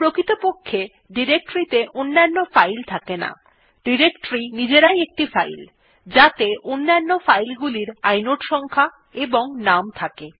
প্রকৃতপক্ষে ডিরেক্টরী ত়ে অন্যান্য ফাইল থাকে না ডিরেক্টরী নিজেরাই একটি ফাইল যাতে অন্যান্য ফাইল গুলির ইনোড সংখ্যা এবং নাম থাকে